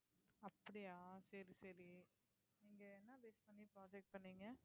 அப்படியா சரி சரி நீங்க என்ன base பண்ணி project பண்ணீங்க